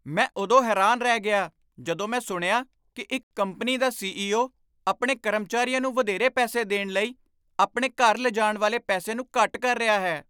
ਮੈਂ ਉਦੋਂ ਹੈਰਾਨ ਰਹਿ ਗਿਆ ਜਦੋਂ ਮੈਂ ਸੁਣਿਆ ਕਿ ਇੱਕ ਕੰਪਨੀ ਦਾ ਸੀ.ਈ.ਓ. ਆਪਣੇ ਕਰਮਚਾਰੀਆਂ ਨੂੰ ਵਧੇਰੇ ਪੈਸੇ ਦੇਣ ਲਈ ਆਪਣੇ ਘਰ ਲਿਜਾਣ ਵਾਲੇ ਪੈਸੇ ਨੂੰ ਘੱਟ ਕਰ ਰਿਹਾ ਹੈ।